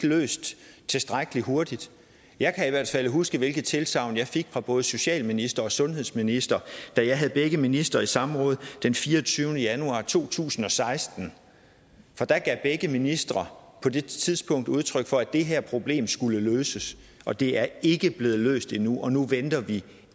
løst tilstrækkelig hurtigt jeg kan i hvert fald huske hvilke tilsagn jeg fik fra både socialministeren og sundhedsministeren da jeg havde begge ministre i samråd den fireogtyvende januar to tusind og seksten for der gav begge ministre på det tidspunkt udtryk for at det her problem skulle løses og det er ikke blevet løst endnu og nu venter vi